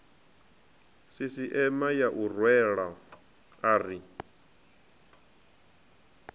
sisieme ya u rwela ari